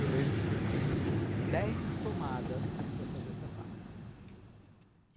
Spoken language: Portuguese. Eu lembro que eu fiz dez tomadas para fazer essa fala.